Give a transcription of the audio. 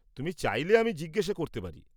তুমি চাইলে আমি জিজ্ঞেস করতে পারি।